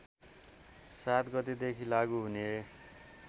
७ गतेदेखि लागू हुने